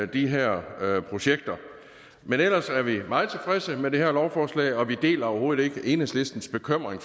de her projekter men ellers er vi meget tilfredse med det her lovforslag og vi deler overhovedet ikke enhedslistens bekymring